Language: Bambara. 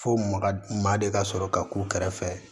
Fo maga ma de ka sɔrɔ ka k'u kɛrɛfɛ